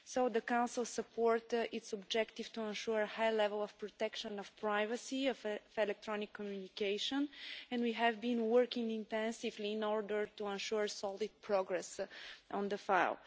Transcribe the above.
The Council supports its objective to ensure a high level of protection of privacy in electronic communication, and we have been working intensively in order to ensure solid progress on the file.